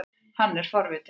Hann er forvitinn.